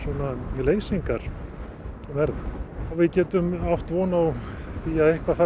leysingar verða við getum átt von á því að eitthvað fari